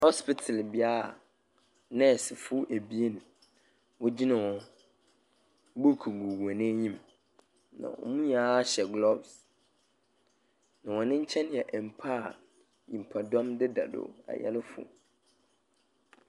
Hospital bi a nɛɛsefo ebien wogyina hɔ. Book gugu hɔn enyim, na wɔn nyinaa hyɛ gloves, na hɔn nkyɛn yɛ mpa a nyimpadɔm deda do, ayarefo.